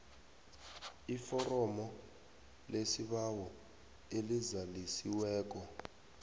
iforomo lesibawo elizalisiweko